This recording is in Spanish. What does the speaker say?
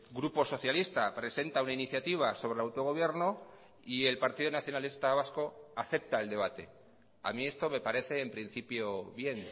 grupo socialista presenta una iniciativa sobre el autogobierno y el partido nacionalista vasco acepta el debate a mí esto me parece en principio bien